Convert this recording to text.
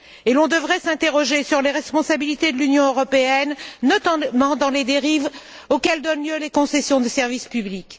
Et l'on devrait s'interroger sur les responsabilités de l'Union européenne, notamment dans les dérives auxquelles donnent lieu les concessions de service public.